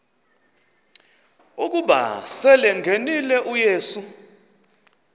ukuba selengenile uyesu